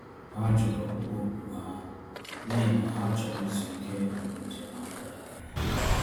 Ha jụrụ ọkpụkpọ oku ha, n’ihi na ha chọrọ izu ike mgbe njem ha gara aga.